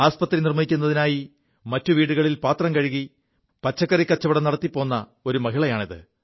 ആശുപത്രി നിർമ്മിക്കുതിനായി മറ്റു വീടുകളിൽ പാത്രം കഴുകി പച്ചക്കറി കച്ചവടം നടത്തിപ്പോ് ഒരു മഹളിയാണിത്